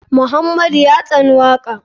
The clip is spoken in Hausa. Muhammadu ya tsani waka.